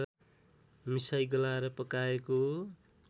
मिसाई गलाएर पकाएको